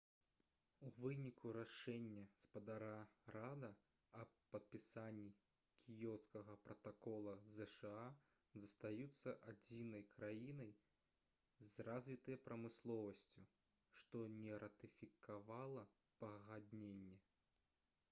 у выніку рашэння спадара рада аб падпісанні кіёцкага пратакола зша застаюцца адзінай краінай з развітай прамысловасцю што не ратыфікавала пагадненне